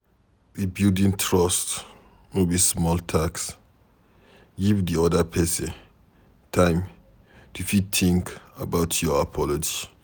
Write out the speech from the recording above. Rebuilding trust no be small task, give di oda person time to fit think about your apology